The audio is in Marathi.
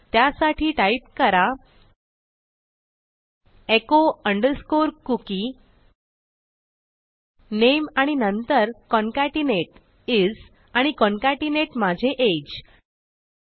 त्यासाठी टाईप करा एचो अंडरस्कोर कुकी नामे आणि नंतर कॉन्केटनेट इस आणि कॉन्केटनेट माझे अगे